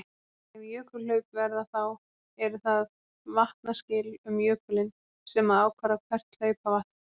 Ef jökulhlaup verða þá eru það vatnaskil um jökulinn sem að ákvarða hvert hlaupvatn fer.